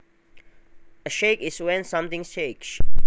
A shake is when something shakes